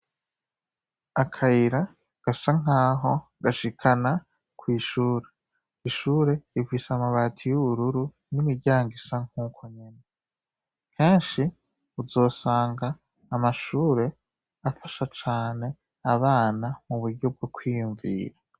Akayira gasa nkaho gashikana kwishure. Ishure rifise amabati yubururu nimiryango isa nkuko nyene; kenshi uzosanga amashure afasha cane abana muburyo bwo kwiyumvira.